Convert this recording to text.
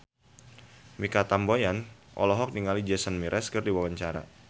Mikha Tambayong olohok ningali Jason Mraz keur diwawancara